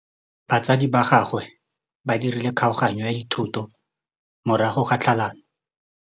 Batsadi ba gagwe ba dirile kgaoganyô ya dithoto morago ga tlhalanô.